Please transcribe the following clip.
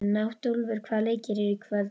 Náttúlfur, hvaða leikir eru í kvöld?